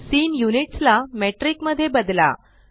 scene units ला metric मध्ये बदला